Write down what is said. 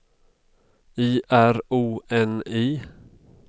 I R O N I